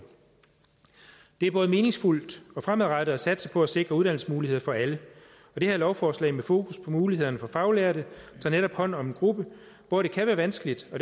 det er både meningsfuldt og fremadrettet at satse på at sikre uddannelsesmuligheder for alle og det her lovforslag med fokus for mulighederne for faglærte tager netop hånd om en gruppe hvor det kan være vanskeligt og